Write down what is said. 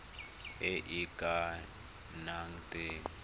e e ka nnang teng